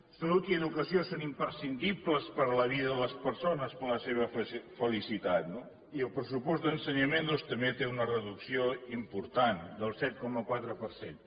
salut i educació són imprescindibles per a la vida de les persones per la seva felicitat no i el pressupost d’ensenyament doncs també té una reducció important del set coma quatre per cent